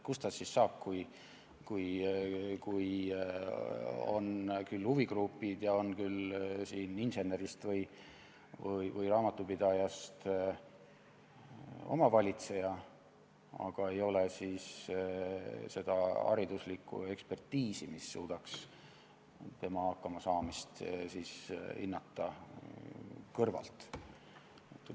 Kust ta siis saab, kui on küll huvigrupid ja on küll insenerist või raamatupidajast omavalitseja, aga ei ole seda hariduslikku ekspertiisi, mis suudaks tema hakkamasaamist kõrvalt hinnata?